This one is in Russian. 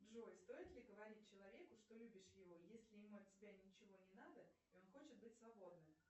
джой стоит ли говорить человеку что любишь его если ему от тебя ничего не надо и он хочет быть свободным